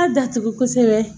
A datugu kosɛbɛ